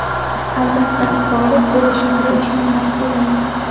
Albatta, g‘olib bo‘lishimga ishonmas edim.